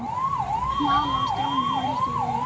Vala og Stjáni horfðust í augu.